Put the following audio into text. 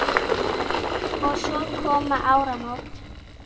Og svo koma áramót.